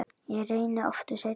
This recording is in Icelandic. Ég reyni aftur seinna